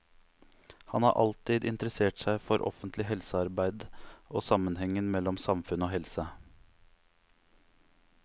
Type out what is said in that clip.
Han har alltid interessert seg for offentlig helsearbeide og sammenhengen mellom samfunn og helse.